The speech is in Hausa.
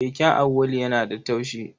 Keken Auwalu yana da taushi.